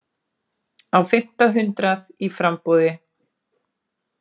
Á fimmta hundrað í framboði